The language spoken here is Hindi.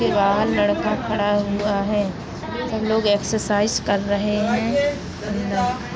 बाहर लड़का खड़ा हुआ हैं सब लोग एक्सर्साइज़ कर रहे हैं --